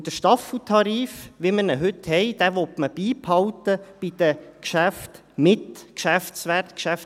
Und den Staffeltarif, wie man ihn heute hat, will man bei den Geschäften mit Geschäftswert beibehalten.